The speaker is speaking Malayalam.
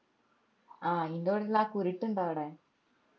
ആഹ് ഇഞ്ഞോടി ഇള്ള ആ കുരുട്ട് ഇണ്ടോ അവിടെ